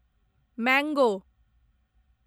mango